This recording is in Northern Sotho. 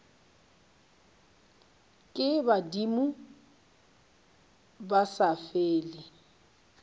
ke badimo ba sa fele